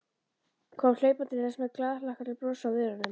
Kom hlaupandi til hans með glaðhlakkalegt bros á vörunum.